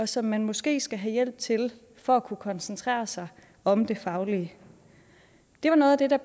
som man måske skal have hjælp til for at kunne koncentrere sig om det faglige det var noget af det der